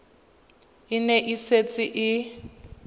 e ne e setse e